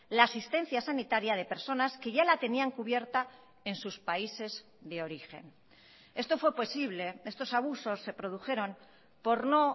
la asistencia sanitaria de personas que ya la tenían cubierta en sus países de origen esto fue posible estos abusos se produjeron por no